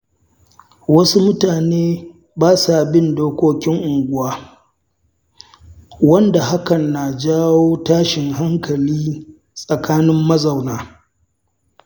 Wasu mutane ba sa bin dokokin unguwa, wanda hakan na janyo tashin hankali tsakanin mazauna.